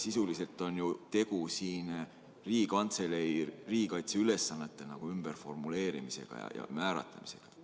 Sisuliselt on ju tegu Riigikantselei riigikaitseülesannete ümberformuleerimisega ja määratlemisega.